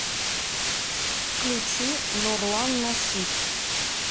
включи нурлан насип